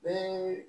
Bɛɛ